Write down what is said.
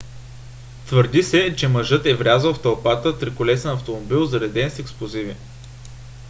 твърди се че мъжът е врязал в тълпата триколесен автомобил зареден с експлозиви